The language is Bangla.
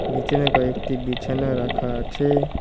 নীচনে কয়েকটি বিছানায় রাখা আছে।